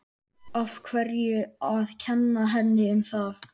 Af hverju að kenna henni um það?